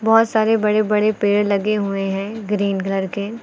बहुत सारे बड़े बड़े पेड़ लगे हुए हैं ग्रीन कलर के।